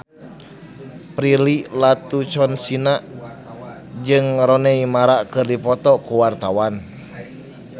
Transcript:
Prilly Latuconsina jeung Rooney Mara keur dipoto ku wartawan